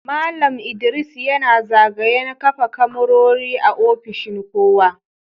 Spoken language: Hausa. Mallam ldris yana zagayan kafa kamarori a ofishin kowa.